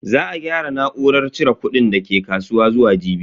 Za a gyara na'urar cire kudin dake kasuwa zuwa jibi.